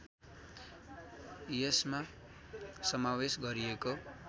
यसमा समावेश गरिएको